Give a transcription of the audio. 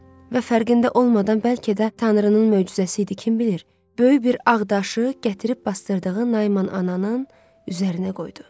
Və fərqində olmadan bəlkə də Tanrının möcüzəsi idi kim bilir, böyük bir ağ daşı gətirib basdırdığı Naiman ananın üzərinə qoydu.